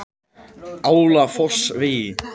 Álafossvegi